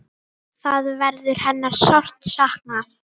Þar verður hennar sárt saknað.